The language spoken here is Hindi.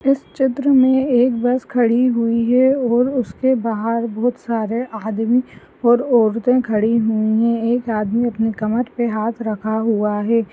इस चित्र मे एक बस खड़ी हुई है। और उसके बाहर बहुत सारे आदमी और औरते खड़ी हुई है। एक आदमी अपने कमर पे हात रखा हुआ है।